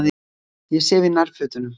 Ég sef í nærfötunum.